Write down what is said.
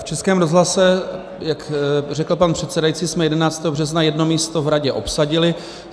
V Českém rozhlase, jak řekl pan předsedající, jsme 11. března jedno místo v radě obsadili.